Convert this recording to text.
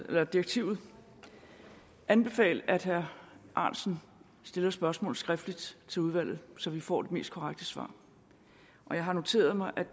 af direktivet anbefale at herre ahrendtsen stiller spørgsmål skriftligt til udvalget så vi får de mest korrekte svar jeg har noteret mig